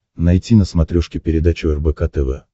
найти на смотрешке передачу рбк тв